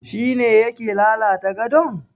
Shi ne yake lalata gadon?